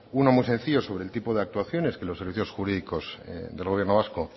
uno muy sencillo sobre el tipo de actuaciones que los servicios jurídicos del gobierno vasco